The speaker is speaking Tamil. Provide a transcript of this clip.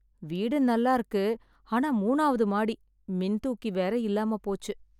வீடு நல்ல இருக்கு ,ஆனா மூணாவது மாடி ,மின் தூக்கி வேற இல்லாம போச்சு.